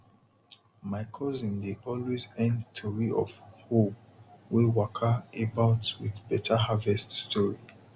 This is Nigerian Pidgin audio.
my cousin dey always end tori of hoe wey waka about with better harvest story